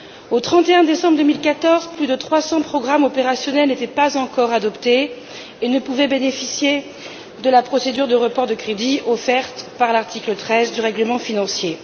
Au 31 décembre 2014, plus de trois cents programmes opérationnels n'étaient pas encore adoptés et ne pouvaient bénéficier de la procédure de report de crédit offerte par l'article 13 du règlement financier.